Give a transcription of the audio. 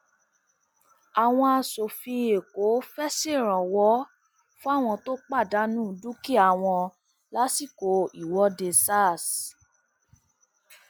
àwọn aṣòfin èkó fẹẹ ṣèrànwọ fáwọn tó pàdánù dúkìá wọn lásìkò ìwọde sars